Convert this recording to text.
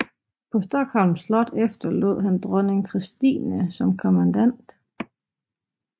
På Stockholms Slot efterlod han dronning Christine som kommandant